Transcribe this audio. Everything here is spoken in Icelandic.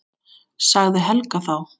sagði Helga þá.